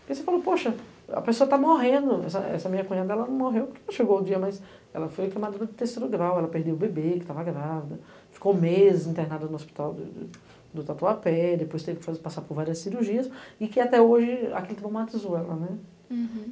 E você falou, poxa, a pessoa está morrendo, essa minha cunhada ela não morreu, porque não chegou o dia, mas ela foi queimadura de terceiro grau, ela perdeu o bebê, que estava grávida, ficou meses internada no hospital do tatuapé, depois teve que passar por várias cirurgias, e que até hoje aquilo traumatizou ela.